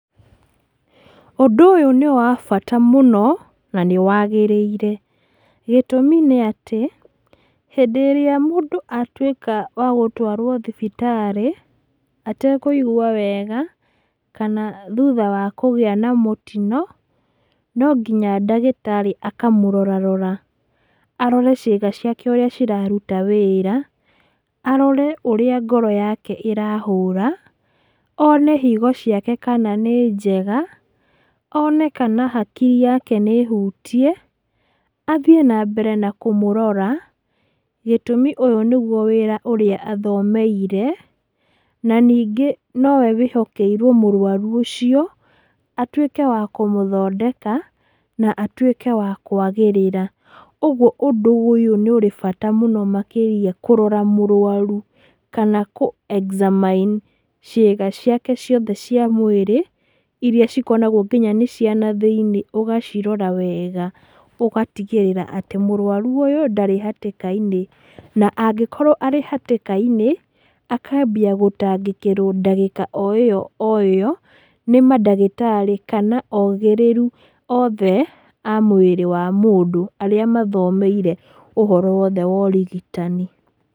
Ũndũ ũyũ nĩ wabata mũno, na nĩwagĩrĩire. Gĩtũmi nĩ atĩ, hĩndĩ ĩrĩa mũndũ atuĩka wagũtwarwo thibitarĩ, atekũigwa wega, kana thutha wa kũgĩa ma mũtino, nonginya ndagĩtarĩ akamũrora rora, arore ciĩga ciake ũrĩa iraruta wĩra, arore ũrĩa ngoro yake ĩrahũra, one higo ciake kana nĩ njega, one kana hakiri yake nĩ hutie, athiĩ nambere na kũmũrora, gĩtumi ũyũ nĩguo wĩra ũrĩa athomeire, na nĩngĩ nowe ehokeire mũrwaru ũcio, atuĩke wa kũmũthondeka, na atuĩke wa kũagĩrĩra. Ũguo ũndũ ũyũ ũrĩ bata makĩrĩa kũrora mũrwaru, kana kũ examine ciĩga ciake ciothe cia mwĩrĩ, iria cikoragwo nginya nĩ cianathĩ-inĩ nĩwacirora wega ũgatigĩrĩra atĩ mũrwaru ũyũ ndarĩ hatĩka-inĩ. Na angĩkorwo arĩ hatĩka-inĩ, akambia gũtangĩkĩrwo o ndagĩka o ĩyo ĩyo, nĩ mandagĩtarĩ, kana ogĩrĩru othe a mwĩrĩ wa mũndũ arĩa mathomeire ũhoro wothe wa ũrigitani.